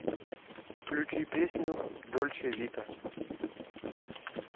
включи песню дольче вита